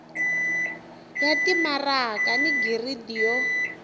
ya timaraka ni giridi yo